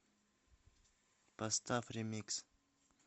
поставь ремикс